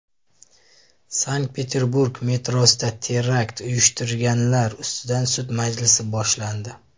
Sankt-Peterburg metrosida terakt uyushtirganlar ustidan sud majlisi boshlandi.